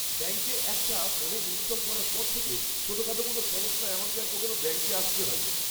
ব্যাঙ্কের অ্যাপটা ফোনে ইনস্টল করার পর থেকে ছোটখাটো কোনও সমস্যায় আমাকে আর কখনও ব্যাঙ্কে আসতে হয়নি।